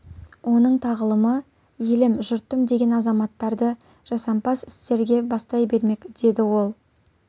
оның тағылымы елім жұртым деген азаматтарды жасампаз істерге бастай бермек деді ол